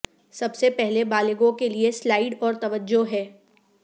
سب سے پہلے بالغوں کے لئے سلائڈ اور توجہ ہے